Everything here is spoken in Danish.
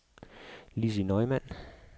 Lissi Neumann